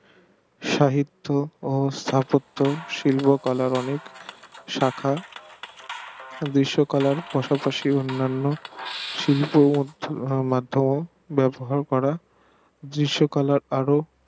সাহিত্য ও স্থাপত্য শিল্প কলার অনেক শাখা বিশ্ব কলা পাসপাশি অন্যান্য শিল্প মাধ্যম ব্যাবহার করা দৃশ কলার পারদ